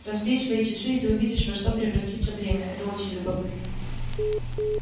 разбей свои часы и ты увидишь во что превратится время это очень любопытно